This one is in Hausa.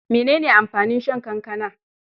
Mene ne amfanin shan kankana?